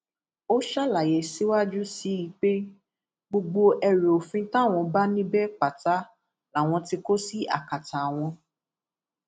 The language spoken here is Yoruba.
ó ṣàlàyé síwájú sí i pé gbogbo ẹrù òfin táwọn bá níbẹ pátá làwọn tí kò sí akátá àwọn